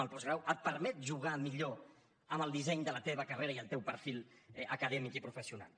el postgrau et permet jugar millor amb el disseny de la teva carrera i el teu perfil acadèmic i professional